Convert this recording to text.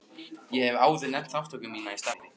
Ég hef áður nefnt þátttöku mína í starfi